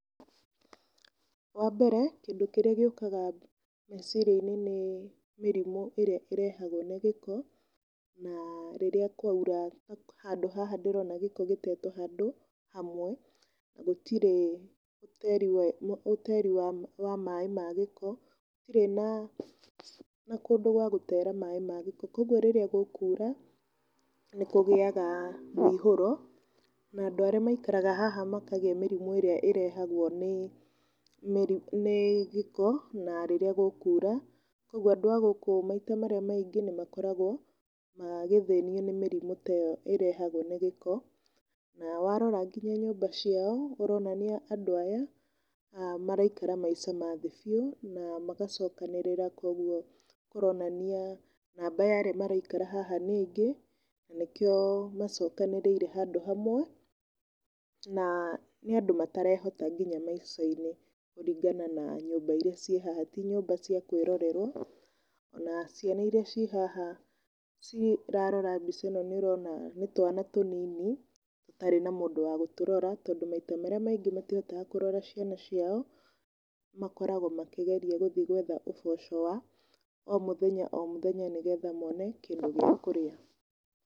Wa mbere kĩndĩ kĩrĩa gĩũkaga meciria-inĩ nĩ mĩrimũ ĩrĩa ĩrehagwo nĩ gĩko, na rĩrĩa kwaura handũ haha ndĩrona gĩko gĩtetwo handũ hamwe. Gũtirĩ ũteri wa maaĩ ma gĩko, gũtirĩ kũndũ gwa gũtera maaĩ ma gĩko ,koguo rĩrĩa gũkura nĩ kũgĩaga mũihũro. Na andũ arĩa maikaraga haha makagĩa mĩrimũ ĩrĩa ĩrehagwo nĩ gĩko na rĩrĩa gũkura, koguo andũ a gũkũ maita marĩa maingĩ nĩ makoragwo magĩthĩnio nĩ mĩrimũ ta ĩyo ĩrehagwo nĩ gĩko. Na warora ta nyũmba ciao cironania andũ aya maraikara maica ma thĩ biũ magacokanĩrira koguo kũronania namba ya arĩa maraikara haha nĩ aingĩ na nĩkĩo macokanĩrĩire handũ hamwe. Na nĩ andũ matarehota nginya maica-inĩ kũringana na nyũmba iria ciĩ haha ti nyũmba cia kwĩrorerwo. Ona ciana iria ci haha cirarora mbica ĩno nĩ ũrona nĩ twana tũnini tũtrarĩ na mũndũ wa gũtũrora. Tondũ maita marĩa maingĩ matihotaga kũrora ciana ciao makoragwo makĩgeria gũthiĩ gwetha ũboco wa o mũthenya o mũthenya nĩ getha mone kĩndũ gĩa kũrĩa.